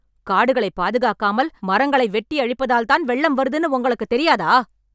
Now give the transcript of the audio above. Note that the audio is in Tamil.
காடுகளை பாதுகாக்காமல், மரங்களை வெட்டி அழிப்பதால்தான் வெள்ளம் வருதுன்னு உங்களுக்கு தெரியாதா...